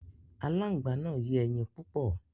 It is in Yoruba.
Aláǹgbá náà yé ẹyin púpọ̀.